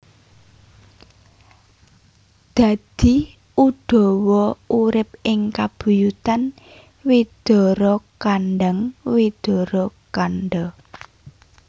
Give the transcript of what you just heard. Dadi Udawa urip ing kabuyutan Widarakandhang Widarakandha